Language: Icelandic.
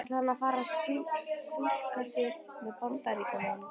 Ætlar hann að fara að túlka sig sem Bandaríkjamann?